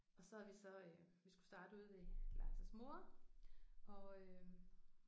Og så har vi så øh vi skulle starte ude ved Lars' mor og øh